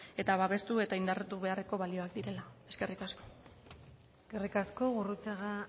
eta babestu eta indartu beharreko balioak direla eskerrik asko eskerrik asko gurrutxaga